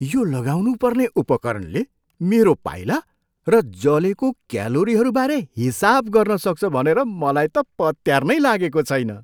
यो लगाउनु पर्ने उपकरणले मेरो पाइला र जलेको क्यालोरीहरू बारे हिसाब गर्न सक्छ भनेर मलाई त पत्यार नै लागेको छैन।